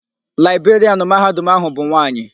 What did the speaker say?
Laịberịanụ Mahadum áhụ̀ bụ nwaanyị.